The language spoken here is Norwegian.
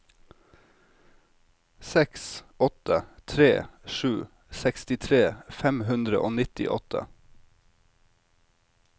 seks åtte tre sju sekstitre fem hundre og nittiåtte